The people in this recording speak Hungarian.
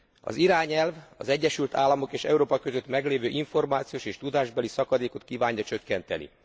Az irányelv az Egyesült Államok és Európa között meglévő információs és tudásbeli szakadékot kívánja csökkenteni.